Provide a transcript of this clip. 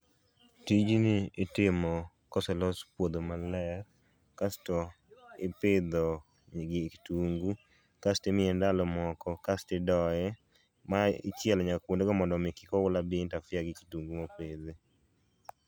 Tijni itimo koselos puodho maler kasto ipidho kitungu kasto imiye ndalo moko kasto idoye mae ichielo nyaka kwondego mondomi kik oula dii interfere gi kitungu mopidh